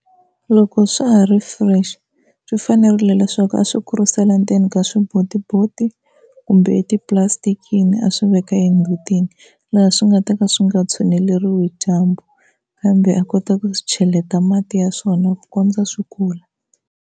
Loko swa ha ri fresh swi fanerile leswaku a swi kurisela ndzeni ka swibotiboti kumbe etipulastikini a swi veka emutini laha swi nga ta ka swi nga tshuneleliwi hi dyambu, kambe a kota ku swi cheleta mati ya swona ku kondza swi kula.